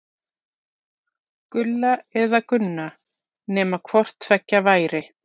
Gulla eða Gunna, nema hvort tveggja væri.